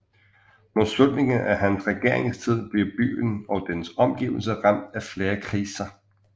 Mod slutningen af hans regeringstid blev byen og dens omgivelser ramt af flere kriser